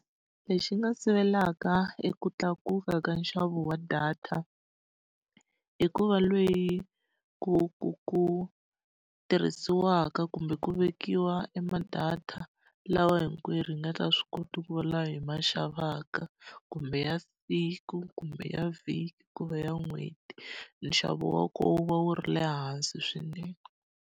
Lexi nga sivelaka eku tlakuka ka nxavo wa data, i ku va ku ku ku tirhisiwaka kumbe ku vekiwa e ma-data lawa hinkwerhu hi nga swi kota ku va lama hi ma xavaka. Kumbe ya siku, kumbe ya vhiki, ku va ya n'hweti, nxavo wa kona wu va wu ri le hansi swinene.